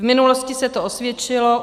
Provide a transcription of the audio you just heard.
V minulosti se to osvědčilo.